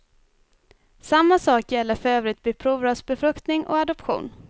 Samma sak gäller för övrigt vid provrörsbefruktning och adoption.